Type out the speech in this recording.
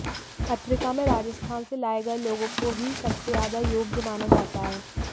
पत्रिका में राजस्थान से लाए गए लोगों को ही सबसे ज्यादा योग्य माना जाता है